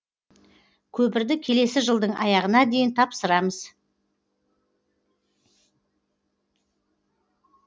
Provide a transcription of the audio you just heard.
көпірді келесі жылдың аяғына дейін тапсырамыз